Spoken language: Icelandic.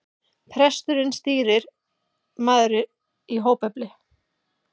Presturinn stýrimaður í hópefli.